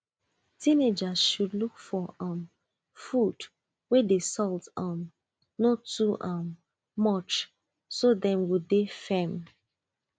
teenagers should look for um food wey the salt um no too um much so dem go dey firm